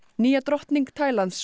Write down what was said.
nýja drottning Tælands